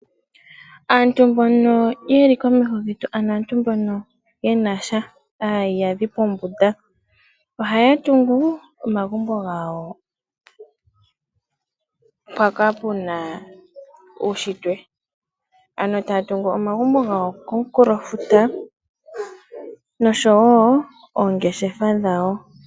Aantu mbono yeli komauvidho, ano aantu mbono ye na sha, aayiyadhi pombunda, ohaya tungu omagumbo gawo mpaka pe na uunshitwe. Ano taya tungu omagumbo gawo komunkulofuta noshowo oongeshefa dhawo.